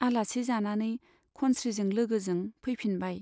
आलासि जानानै खनस्रीजों लोगोजों फैफिनबाय।